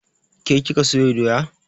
Ke kika sayo doya?